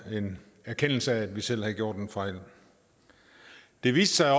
erkendelse af at vi selv havde gjort en fejl det viste sig